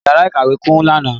Yàrá ìkàwé kún lánàá.